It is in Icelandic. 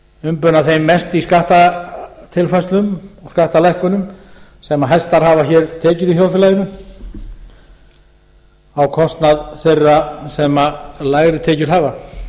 umbuna þeim mest í skattatilfærslum og skattalækkunum sem hæstar hafa hér tekjur í þjóðfélaginu á kostnað þeirra sem lægri tekjur hafa